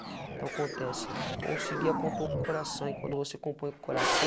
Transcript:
Então acontece, conseguia compor com o coração e quando você compõe o coração,